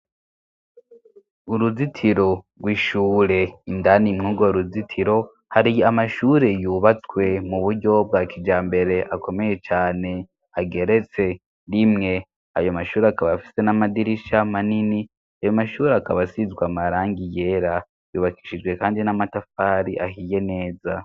Uruzitiro rw'ishure indani mwugo ruzitiro, hari amashuri yubatswe mu buryo bwa kijambere akomeye cane ageretse rimwe. Ayo mashuri akaba afise n'amadirisha manini ,ayo mashuri akaba asizw'amarangi yera yubakishije kandi n'amatafari ahiye neza.